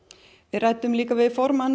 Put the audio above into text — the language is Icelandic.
við ræddum líka við formann